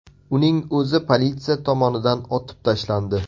Uning o‘zi politsiya tomonidan otib tashlandi.